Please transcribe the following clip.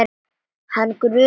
Hana grunar ekkert.